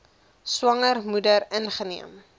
swanger moeder ingeneem